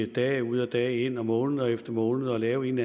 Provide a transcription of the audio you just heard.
dag ud og dag ind og måned efter måned og lave en